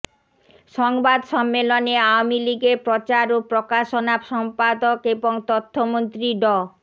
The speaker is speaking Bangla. সংবাদ সম্মেলনে আওয়ামী লীগের প্রচার ও প্রকাশনা সম্পদক এবং তথ্যমন্ত্রী ড